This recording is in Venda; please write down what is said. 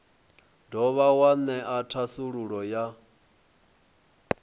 dovha wa ṅea thasululo ya